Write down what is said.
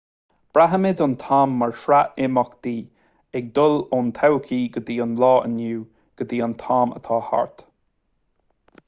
braithimid an t-am mar shraith imeachtaí ag dul ón todhchaí go dtí an lá inniu go dtí an t-am atá thart